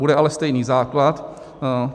Bude ale stejný základ.